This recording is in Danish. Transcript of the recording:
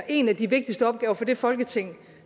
en af de vigtigste opgaver for det folketing